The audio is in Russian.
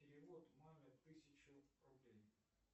перевод маме тысячу рублей